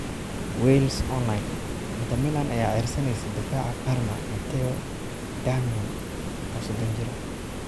(Wales Online) Inter Milan ayaa ceyrsaneysa daafaca Parma Matteo Darmian, oo 30 jir ah.